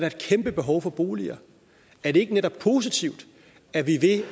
et kæmpe behov for boliger er det ikke netop positivt at vi ved